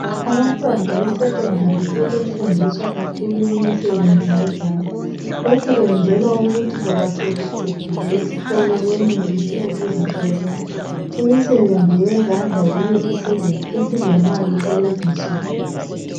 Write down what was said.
Abantwana besekhodali sebe fundiswa kakhulu imisebenzi yezandla lokhu kuyenzelwa ukuthi noma sebeqedile isikolo benelise ukuzisebenza, imisebenzi yezandla yiyo esilemali kulezinsuku.